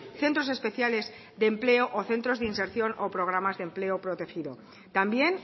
centros especiales de empleo o centros de inserción o programas de empleo protegido también